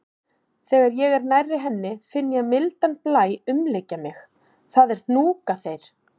Þegar ég er nærri henni finn ég mildan blæ umlykja mig, það er hnúkaþeyr.